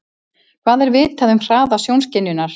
Hvað er vitað um hraða sjónskynjunar?